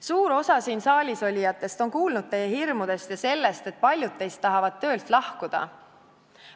Suur osa siin saalis olijatest on kuulnud teie hirmudest ja sellest, et paljud teist tahavad töölt lahkuda.